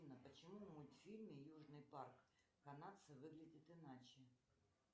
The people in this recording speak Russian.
афина почему в мультфильме южный парк канадцы выглядят иначе